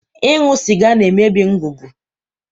Ịṅụ sịga na-emebi ngụgụ.